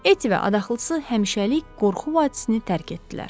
Etti və adaxlısı həmişəlik qorxu vadisini tərk etdilər.